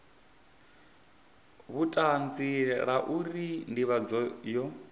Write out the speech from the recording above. vhutanzi la uri ndivhadzo yo